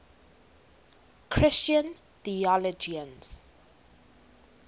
christian theologians